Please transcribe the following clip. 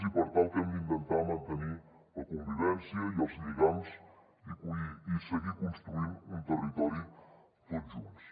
i per tant el que hem d’intentar mantenir és la convivència i els lligams i seguir construint un territori tots junts